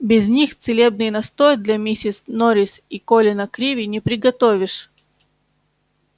без них целебный настой для миссис норрис и колина криви не приготовишь